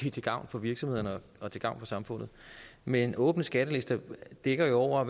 er til gavn for virksomhederne og til gavn for samfundet men åbne skattelister dækker jo over